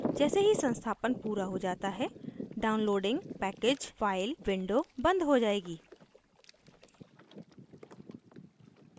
जैसे ही संस्थापन पूरा हो जाता है downloading package file window बंद हो जाएगी